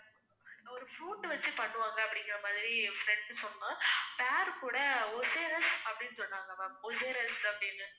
ஒரு fruit வச்சு பண்ணுவாங்க அப்படிங்குறமாதிரி என் friend சொன்னான் பேரு கூட அப்படின்னு சொன்னாங்க ma'am அப்படின்னு